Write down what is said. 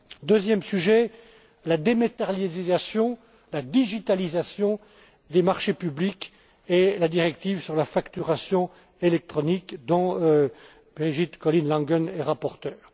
Deuxième sujet, la dématérialisation, la digitalisation des marchés publics et la directive sur la facturation électronique, dont Birgit Collin Langen est rapporteure.